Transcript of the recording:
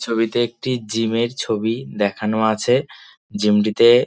ছবিতে একটি জিম -এর ছবি দেখানো আছে জিম -টিতে--